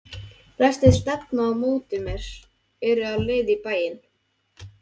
Flestir stefna á móti mér, eru á leið í bæinn.